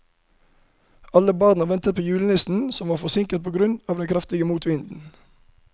Alle barna ventet på julenissen, som var forsinket på grunn av den kraftige motvinden.